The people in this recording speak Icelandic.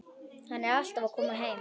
Hann er alltaf að koma heim.